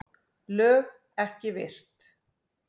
LÖG EKKI VIRT